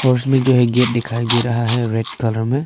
और उसमें जो है गेट दिखाई दे रहा है रेड कलर में।